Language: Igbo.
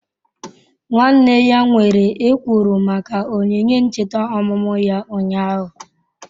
Nwanne ya nwere ekworo maka onyinye ncheta ọmụmụ ya ụnyahụ.